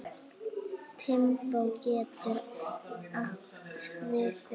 Limbó getur átt við um